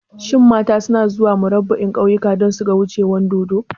Shin mata suna zuwa Murabba'in kauyuka don suga wucewar dodo?